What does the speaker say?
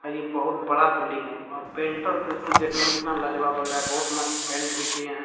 अ ई बहुत बड़ा बिल्डिंग है अ पेंटर तो इसको देखने मे इतना लाजवाब लग रहा है बहुत मस्त पेंट भी किये हैं।